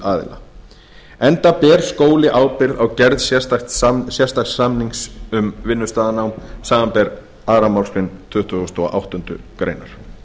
umsýsluaðila enda ber skóli ábyrgð á gerð sérstaks samnings um vinnustaðanám samanber aðra málsgrein tuttugustu og áttundu greinar